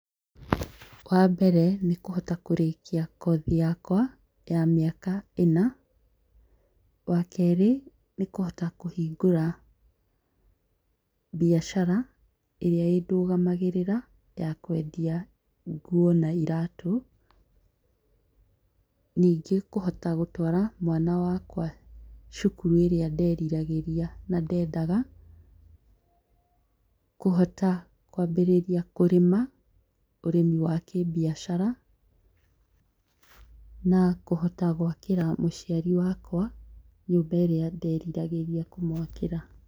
Wa mbere nĩ kũhota kũrĩkia kothi yakwa ya mĩaka ĩna. Wa keerĩ nĩ kũhota kũhingũra biacara ĩrĩa ĩndũgamagĩrĩra ya kwendia nguo na iraatũ. Ningĩ kũhota gũtwara mwana wakwa cukuru ĩrĩa nderiragĩria na ndendaga, kũhota kwambĩrĩria kũrĩma, ũrĩmi wa kĩbiacara na kũhota gwakĩra mũciari wakwa nyũmba ĩrĩa nderiragĩria kũmwakĩra.